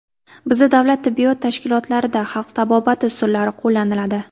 Bizda davlat tibbiyot tashkilotlarida xalq tabobati usullari qo‘llaniladi.